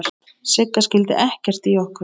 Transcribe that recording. Sigga skildi ekkert í okkur.